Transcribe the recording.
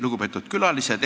Lugupeetud külalised!